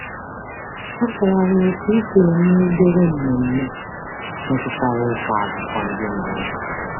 A kpọrọ anyị oku isonye n’obere mmemme metụtara ịkọ akụkọ ndị mgbe ochie.